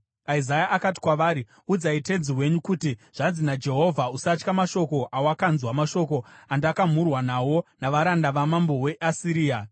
Isaya akati kwavari, “Udzai tenzi wenyu kuti, ‘Zvanzi naJehovha: Usatya mashoko awakanzwa, mashoko andakamhurwa nawo navaranda vamambo weAsiria.